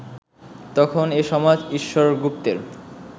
তখন এ সমাজ ঈশ্বর গুপ্তের